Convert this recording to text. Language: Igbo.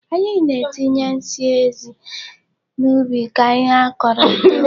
Anyị na-etinye nsị ezi n'ubi ka ihe a kọrọ too.